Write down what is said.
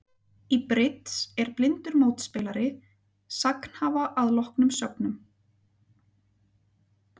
Í bridds er blindur mótspilari sagnhafa að loknum sögnum.